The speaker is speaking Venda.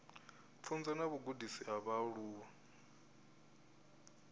pfunzo na vhugudisi ha vhaaluwa